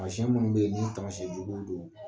Taamasiyɛn minnu bɛ yen ni taamasiyɛn juguw don